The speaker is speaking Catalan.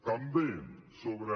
també sobre